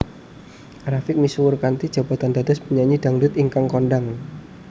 A Rafiq misuwur kanthi jabatan dados penyanyi dhangdhut ingkang kondhang